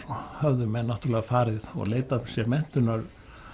höfðu menn náttúrulega farið og leitað sér menntunar